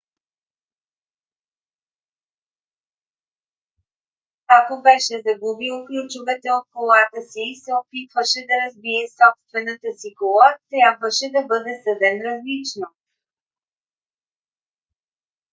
ако беше загубил ключовете от колата си и се опитваше да разбие собствената си кола трябваше да бъде съден различно